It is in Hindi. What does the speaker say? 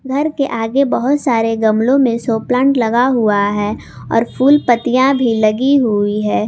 घर के आगे बहुत सारे गमलों में सो प्लांट लगा हुआ है और फूल पत्तियां भी लगी हुई है।